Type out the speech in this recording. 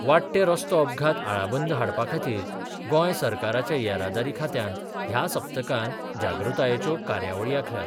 वाडटे रस्तो अपघात आळाबंद हाडपा खातीर गोंय सरकाराच्या येरादारी खात्यान ह्या सप्तकांत जागृतायेच्यो कार्यावळी आंखल्यात.